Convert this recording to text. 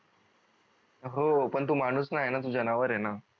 हो पण तू माणूस नाही आहे न तू जनावर आहे न